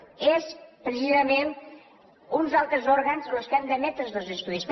són precisament uns altres òrgans los que han d’emetre estos estudis